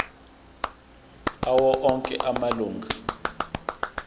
awo onke amalunga